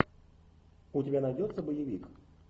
у тебя найдется боевик